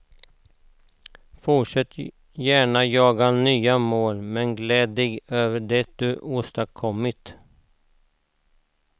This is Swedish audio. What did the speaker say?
Fortsätt gärna jaga nya mål, men gläd dig över det du åstadkommit.